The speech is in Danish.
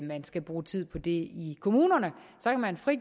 man skal bruge tid på det i kommunerne og så kan man